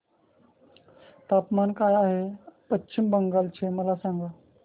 तापमान काय आहे पश्चिम बंगाल चे मला सांगा